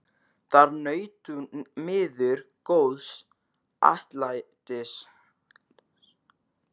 Þar naut hún miður góðs atlætis.